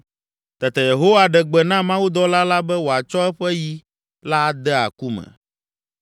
Tete Yehowa ɖe gbe na mawudɔla la be wòatsɔ eƒe yi la ade aku me.